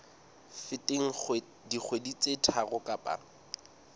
feteng dikgwedi tse tharo kapa